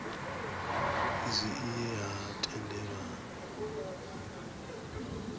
izwi i ye ha tendelanwa